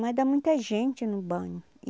Mas dá muita gente no banho.